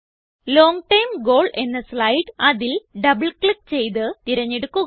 long term goal എന്ന slide അതിൽ double click ചെയ്ത് തിരഞ്ഞെടുക്കുക